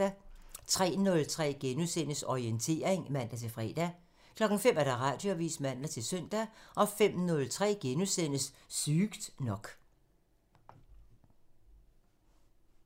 03:03: Orientering *(man-fre) 05:00: Radioavisen (man-søn) 05:03: Sygt nok *(man)